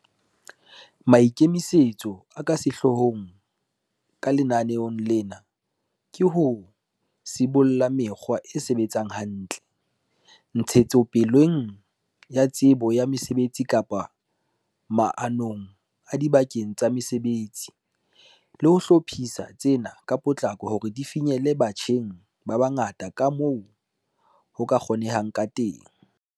Maikemisetso a ka sehloohong ka lenaneo lena ke ho sibolla mekgwa e sebetsang hantle, ntshetsopeleng ya tsebo ya mosebetsi kapa maanong adibakeng tsa mosebetsi, le ho hlophisa tsena ka potlako hore di finyelle batjheng ba bangata kamoo ho ka kgonehang kateng.